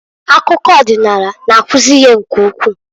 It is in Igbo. Akụkọ ọdịnaala na-akuzi ihe nke ukwu.